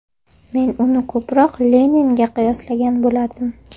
Men uni ko‘proq Leninga qiyoslagan bo‘lardim.